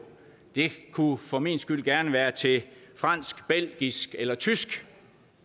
det kunne for min skyld gerne være til fransk belgisk eller tysk